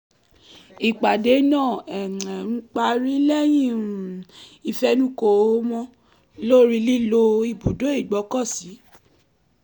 ìpàdé náà parí lẹ́yìn um ifẹnukò wọn lórí lílo ibùdó ìgbọ́kọ̀sí